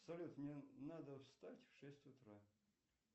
салют мне надо встать в шесть утра